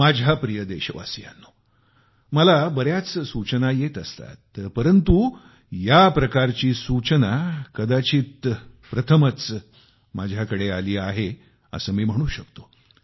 माझ्या प्रिय देशवासियांनो मला बऱ्याच सूचना येत असतात परंतु या प्रकारची सूचना कदाचित प्रथमच माझ्याकडे आली आहे असे मी म्हणू शकतो